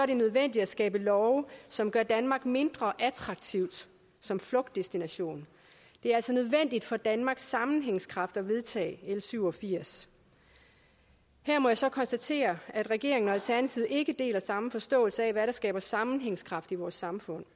det nødvendigt at skabe love som gør danmark mindre attraktivt som flugtdestination det er altså nødvendigt for danmarks sammenhængskraft at vedtage l syv og firs her må jeg så konstatere at regeringen og alternativet ikke deler samme forståelse af hvad der skaber sammenhængskraft i vores samfund